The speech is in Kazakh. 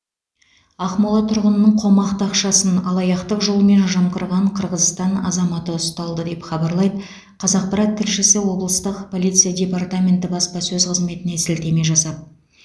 ақмола тұрғынының қомақты ақшасын алаяқтық жолмен жымқырған қырғызстан азаматы ұсталды деп хабарлайды қазақпарат тілшісі облыстық полиция департаменті баспасөз қызметіне сілтеме жасап